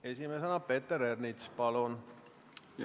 Esimesena Peeter Ernits, palun!